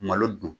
Malo dun